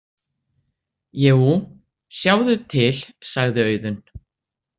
Jú, sjáðu til, sagði Auðunn.